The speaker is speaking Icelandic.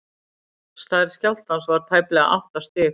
stærð skjálftans var tæplega átta stig